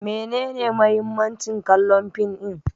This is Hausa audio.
Menene muhimmancin kallon fim din?